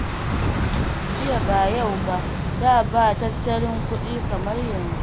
Jiya ba yau ba, da ba na tattalin kuɗi kamar yanzu.